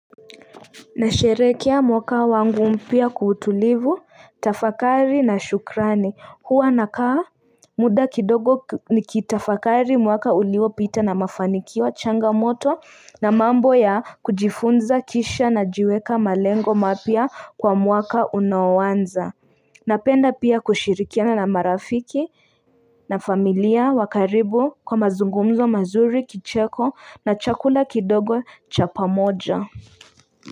Nasherehekea mwaka wangu mpya kwa utulivu, tafakari na shukrani huwa na kaa muda kidogo nikitafakari mwaka uliopita na mafanikio changamoto na mambo ya kujifunza kisha najiweka malengo mapya kwa mwaka unaoanza Napenda pia kushirikiana na marafiki na familia wakaribu kwa mazungumzo mazuri kicheko na chakula kidogo cha pamoja.